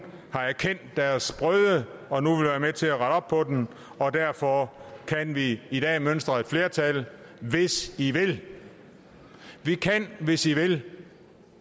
har erkendt deres brøde og nu vil være med til at rette op på den og derfor kan vi i dag mønstre et flertal hvis i vil vi kan hvis i vil